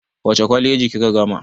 Wace kwaleji kika gama?